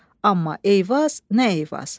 Amma Eyvaz, nə Eyvaz.